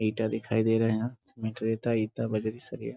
ईटा दिखाई दे रहा है। यहाँ सीमेंट रेता ईटा सरिया --